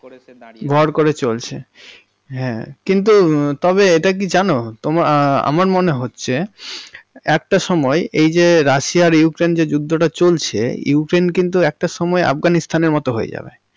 ভর করে চলছে। হ্যাঁ কিন্তু তবে এটা কি জানো তোমা আমার মনে হচ্ছে একটা সময় এই যে রাশিয়া আর ইউক্রেইন্, যুদ্ধটা চলছে ইউক্রেইন্ কিন্তু একটা সময় আফঘানিস্থান এর মতন হয়ে যাবে।